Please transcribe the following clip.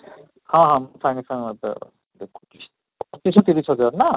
ହଁ ହଁ, ସାଙ୍ଗେ ସାଙ୍ଗ ମୁଁ ତ ଦେଖୁଛି, ପଚିଶ ତିରିଶ ଯାହାର ନା?